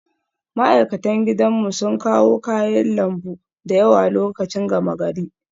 Ma'aikatan gidanmu sun kawo kayan lambu da yawa lokacin gama gari